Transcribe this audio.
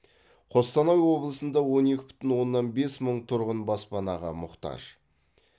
қостанай облысында он екі бүтін оннан бес мың тұрғын баспанаға мұқтаж